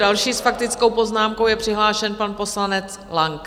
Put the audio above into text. Další s faktickou poznámkou je přihlášen pan poslanec Lang.